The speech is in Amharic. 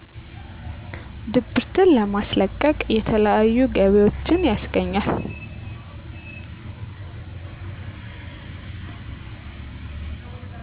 ድብርትን ለማስለቀቅ የተለያዩ ገቢዎች ያስገኛል